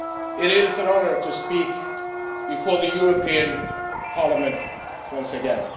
It is an honour to speak before the European Parliament once again.